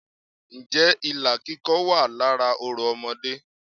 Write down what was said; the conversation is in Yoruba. Ǹ jẹ́ ilà kíkọ wà lára orò Ọmọdé